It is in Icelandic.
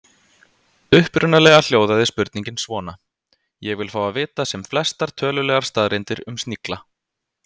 Upprunalega hljóðaði spurningin svona: Ég vil fá að vita sem flestar tölulegar staðreyndir um snigla.